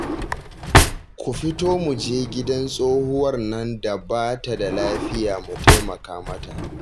Ku fito mu je gidan tsohuwar nan da ba ta da lafiya mu taimaka mata